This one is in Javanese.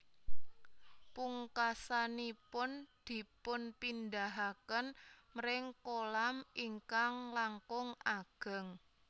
Pungkasanipun dipunpindahaken mring kolam ingkang langkung ageng